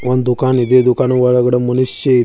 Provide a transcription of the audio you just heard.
ಒಂದು ದುಕಾನ ಇದೆ ದುಕಾನನೊಳಗೆ ಮನುಷ್ಯ ಇದೆ.